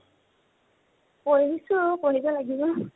পঢ়িছো, পঢ়িব লাগিব।